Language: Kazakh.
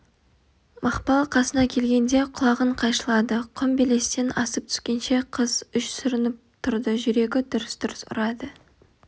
мақпал қасына келгенде құлағын қайшылады құм белестен асып түскенше қыз үш сүрініп тұрды жүрегі дүрс-дүрс ұрады